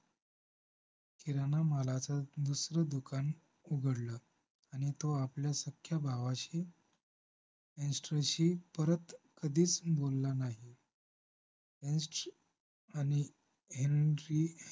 किराणा मालाचं दुसरं दुकान उघडलं आणि तो आपल्या सख्या भावाशी परत कधीच बोलला नाही अंश आणि हेनरी